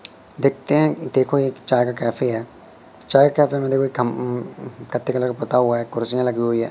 देखते हैं कि देखो एक चाय का कैफ़े है चाय कैफ़े में देखो एक उम्म गत्ते कलर का पुता हुआ है कुर्सियां लगी हुई हैं।